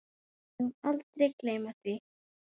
Við megum aldrei gleyma því.